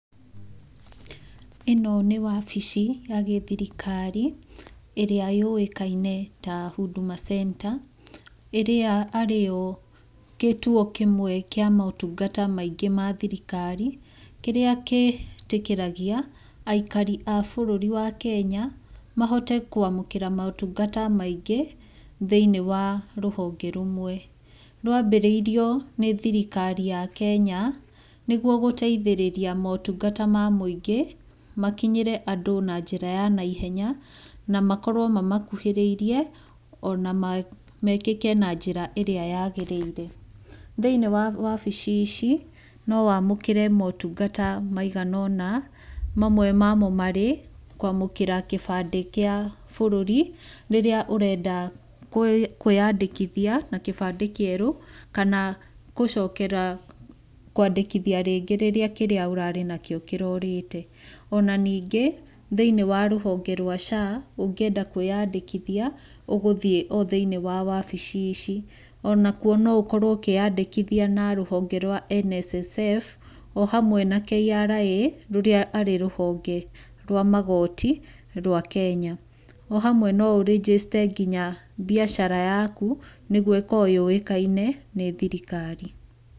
ĩno nĩ wabici ya gĩthirikari ĩrĩa yũĩkaine ta huduma centre, ĩrĩa arĩ gĩtuo kĩmwe kĩa motungata maingĩ mathirikari, kĩrĩa gĩtĩkĩragia aikari a bũrũri wa kenya mahote kwamũkĩra motungata maingĩ thĩiniĩ wa rũhonge rũmwe. Rwambĩrĩirio nĩ thirikari ya Kenya, nĩguo gũteithĩrĩria motungata ma mũingĩ makinyĩte andũ na njĩra ya naihenya na makorwo mamakuhĩrĩirie, ona mekĩke na njĩra ĩrĩa yagĩrĩire. Thĩiniĩ wa wabici ici, no wamũkĩre motungata maigana ũna, mamwe mamo marĩ kwamũkĩra kĩbandĩ kĩa bũrũri, rĩrĩa ũrenda kwĩyandĩkithia na kĩbandĩ kĩerũ, kana gũcokera kwandĩkithia rĩngĩ rĩrĩa kĩrĩa ũrarĩ nakĩo kĩrorĩte. Ona ningĩ thĩiniĩ wa rũhonge rwa SHA, ũngĩenda kwĩandĩkithia ũgũthiĩ o thĩiniĩ wa wabici ici, Ona kuo no ũkorwo ukĩĩandĩkithia na rũhonge rwa NSSF o hamwe na KRA, rũrĩa arĩ rũhonge rwa magoti rwa Kenya. O hamwe no ũrĩnjĩcite nginya mbiacara yaku nĩguo ĩkorwo yũĩkaine nĩ thirikari.